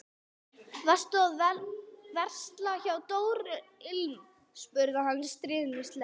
Varstu að versla hjá Dóru ilm? spurði hann stríðnislega.